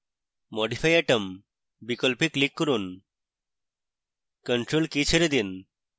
modifyatom বিকল্পে click করুন ctrl key ছেড়ে দিন